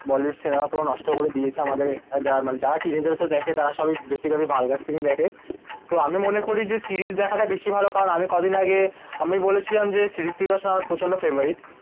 Bollywood cinema পুরো নষ্ট করে দিয়েছে আমাদের যারা মানে যারা টিনেজার্স রা দেখে বেশি করে ভালগার সিন ই দেখে তো আমি মনে করি যে সিরিজ দেখা তা বেশি ভালো কারণ আমি কি দিন আগে আমি বলেছিলাম যে হৃত্বিক রোশান আমার প্রচন্ড ফেভারিট